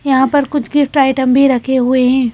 यहां पर कुछ गिफ्ट आइटम भी रखे हुए हैं।